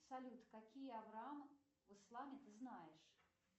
салют какие авраам в исламе ты знаешь